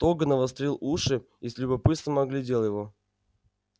тог навострил уши и с любопытством оглядел его